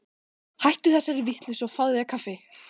Hættu þessari vitleysu og fáðu þér kaffi.